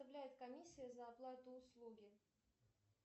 составляет комиссия за оплату услуги